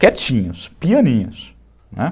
Quietinhos, pianinhos, né.